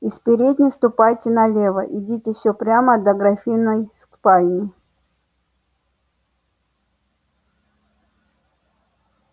из передней ступайте налево идите все прямо до графинной спальни